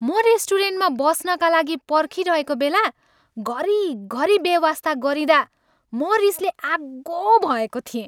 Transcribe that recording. म रेस्टुरेन्टमा बस्नका लागि पर्खिरहेको बेला घरिघरि बेवास्ता गरिँइदा म रिसले आगो भएको थिएँ।